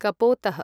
कपोतः